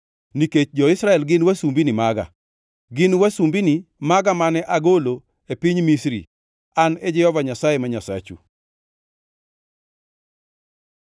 nikech jo-Israel gin wasumbini maga. Gin wasumbini maga mane agolo e piny Misri. An e Jehova Nyasaye ma Nyasachu.